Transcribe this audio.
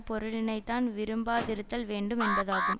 பொருளினை தான் விரும்பாதிருத்தல் வேண்டும் என்பதாகும்